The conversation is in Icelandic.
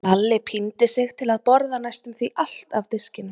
Lalli píndi sig til að borða næstum því allt af diskinum.